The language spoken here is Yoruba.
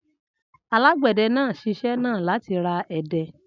Alágbẹ̀dẹ náà ṣiṣẹ́ náà láti ara ẹdẹ.